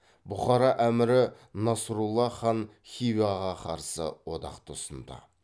бұқара әмірі насрұлла хан хиваға қарсы одақты ұсынды